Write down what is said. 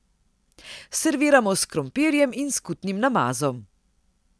Serviramo s krompirjem in skutnim namazom.